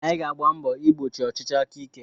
Anyị ga-agba mbọ igbochi ọchịchị aka ike.